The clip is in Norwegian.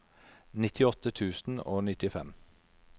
nittiåtte tusen og nittifem